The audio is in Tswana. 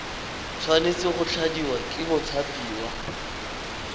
tshwanetse go tladiwa ke mothapiwa